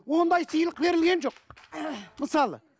ондай сыйлық берілген жоқ мысалы